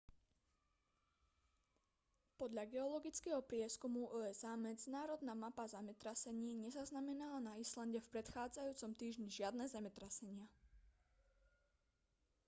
podľa geologického prieskumu usa medzinárodná mapa zemetrasení nezaznamenala na islande v predchádzajúcom týždni žiadne zemetrasenia